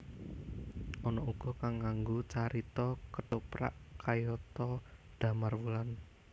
Ana uga kang nganggo carita kethoprak kayata Damarwulan